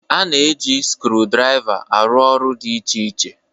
A na-eji skrudraịva arụ ọrụ dị iche iche.